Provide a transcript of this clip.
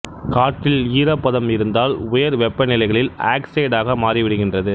காற்றில் ஈரப்பதம் இருந்தால் உயர் வெப்ப நிலைகளில் ஆக்ஸைடாக மாறி விடுகின்றது